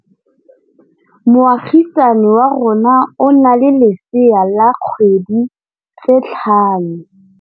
Moagisane wa rona o na le lesea la dikgwedi tse tlhano.